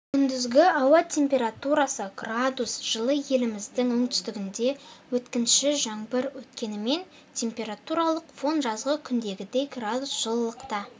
күндізгі ауа температурасы градус жылы еліміздің оңтүстігінде өткінші жаңбыр өткенімен температуралық фон жазғы күндегідей градус жылылықта